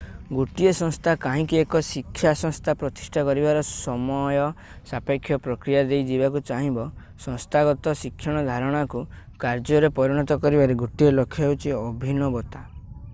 ଗୋଟିଏ ସଂସ୍ଥା କାହିଁକି ଏକ ଶିକ୍ଷା ସଂସ୍ଥା ପ୍ରତିଷ୍ଠା କରିବାର ସମୟ ସାପେକ୍ଷ ପ୍ରକ୍ରିୟା ଦେଇ ଯିବାକୁ ଚାହିଁବ ସଂସ୍ଥାଗତ ଶିକ୍ଷଣ ଧାରଣାକୁ କାର୍ଯ୍ୟରେ ପରିଣତ କରିବାର ଗୋଟିଏ ଲକ୍ଷ୍ୟ ହେଉଛି ଅଭିନବତା